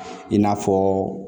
I n'a fɔ